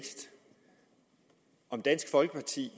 dansk folkeparti